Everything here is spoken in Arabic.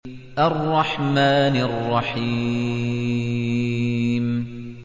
الرَّحْمَٰنِ الرَّحِيمِ